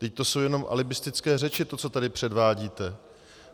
Vždyť to jsou jenom alibistické řeči, to, co tady předvádíte.